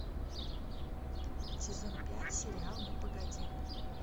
сезон пять сериал ну погоди